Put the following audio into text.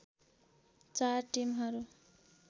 चार टिमहरू